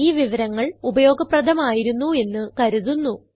ഈ വിവരങ്ങൾ ഉപയോഗപ്രധമായിരുന്നു എന്ന് കരുതുന്നു